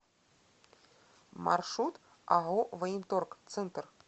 маршрут ао военторг центр